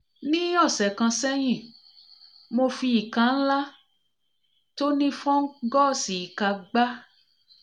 nih ọ̀sẹ̀ kan sẹ́yìn mo fi ìka ńlá tó nih fungus ìka gbá